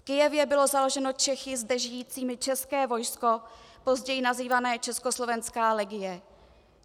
V Kyjevě bylo založeno Čechy zde žijícími české vojsko, později nazývané Československá legie.